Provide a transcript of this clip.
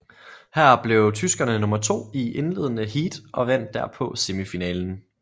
Her blev tyskerne nummer to i indledende heat og vandt derpå semifinalen